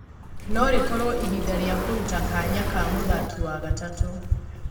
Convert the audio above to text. No-rĩkorwo ihinda rĩa kũruta kanya ka mũthaki wa gatatũ.